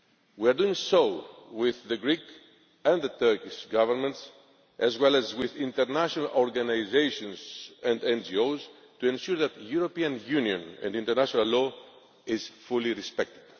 We are doing so with the Greek and the Turkish Governments, as well as with international organisations and NGOs to ensure that the European Union and international law is fully respected.